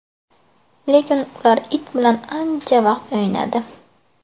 Lekin ular it bilan ancha vaqt o‘ynadi.